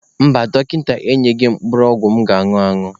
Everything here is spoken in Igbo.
Mba, dọkịta enyeghị m mkpụrụ ọgwụ m ga-añụ añụ.